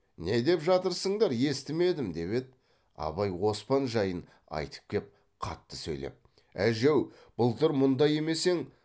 не деп жатырсыңдар естімедім деп еді абай оспан жайын айтып кеп қатты сөйлеп әже ау былтыр мұндай емес ең